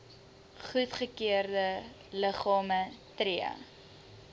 goedgekeurde liggame tree